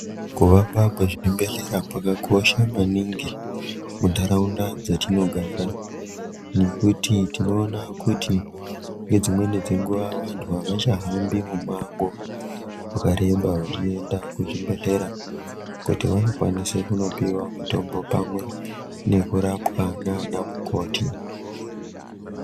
Kuvakwa kwezvibhehlera kwakakosha maningi, muntaraunda dzatinogara, nekuti tinoona kuti ngedzimweni dzenguwa vantu avachahambi mumango, wakareba vachienda kuzvibhehlera kuti vanokwanise kunopiwa mitombo pamwe nekurapwa nana mukoti.